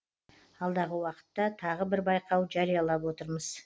алдағы уақытта тағы бір байқау жариялап отырмыз